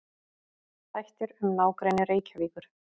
Þættir um nágrenni Reykjavíkur.